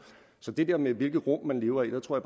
så til det der med hvilke rum man lever i tror